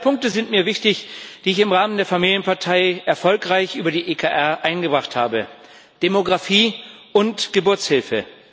Zwei Punkte sind mir wichtig, die ich im Rahmen der Familienpartei erfolgreich über die EKR eingebracht habe Demografie und Geburtshilfe.